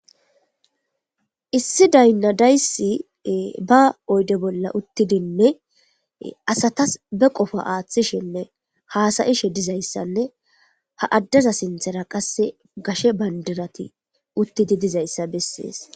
Issi daynna dayssi ba oyde bolla uttidinne asatas be qofo aaththishinne haasayishe dizayssanne ha addeza sinthera qasse gashe bandirati uttidi dizayssa bessees.